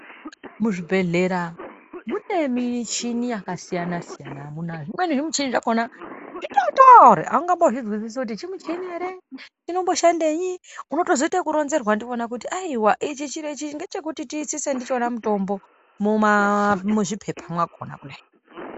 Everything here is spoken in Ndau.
Mu zvibhehlera mune michini yaka siyana siyana amuna zvimweni zvi muchini zvakona zvitotori aungambo zvinzwisisi kuti chi muchini ere inombo shandenyi unozoto ita zveku ronzerwa ndivona kuti ayihwa ichi chiro ichi ngeche kuti ti itsise ndichona mutombo muma mu zvipepa makona kudai.